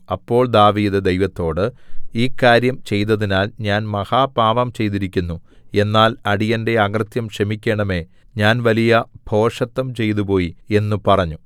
അപ്പോൾ ദാവീദ് ദൈവത്തോട് ഈ കാര്യം ചെയ്തതിനാൽ ഞാൻ മഹാപാപം ചെയ്തിരിക്കുന്നു എന്നാൽ അടിയന്റെ അകൃത്യം ക്ഷമിക്കേണമേ ഞാൻ വലിയ ഭോഷത്വം ചെയ്തുപോയി എന്നു പറഞ്ഞു